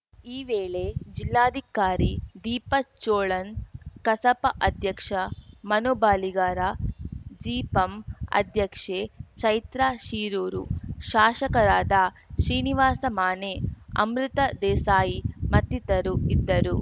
ಈ ವೇಳೆ ಜಿಲ್ಲಾಧಿಕಾರಿ ದೀಪಾ ಚೋಳನ್‌ ಕಸಾಪ ಅಧ್ಯಕ್ಷ ಮನು ಬಳಿಗಾರ ಜಿಪಂ ಅಧ್ಯಕ್ಷೆ ಚೈತ್ರಾ ಶಿರೂರು ಶಾಶಕರಾದ ಶ್ರೀನಿವಾಸ ಮಾನೆ ಅಮೃತ ದೇಸಾಯಿ ಮತ್ತಿತರು ಇದ್ದರು